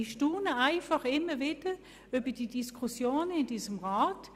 Ich staune immer wieder über die Diskussion in diesem Rat.